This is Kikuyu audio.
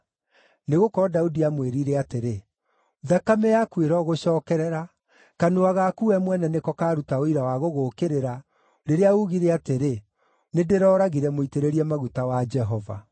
Nĩgũkorwo Daudi aamwĩĩrire atĩrĩ, “Thakame yaku ĩrogũcookerera. Kanua gaku we mwene nĩko kaaruta ũira wa gũgũũkĩrĩra, rĩrĩa uugire atĩrĩ, ‘Nĩndĩrooragire mũitĩrĩrie maguta wa Jehova.’ ”